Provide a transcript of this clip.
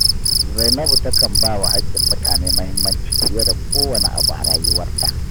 Zainabu takan ba wa hakkin mutane muhimmanci fiye da kowane abu a rayuwarta